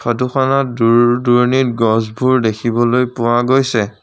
ফটোখনত দূৰ দুৰণিত গছবোৰ দেখিবলৈ পোৱা গৈছে।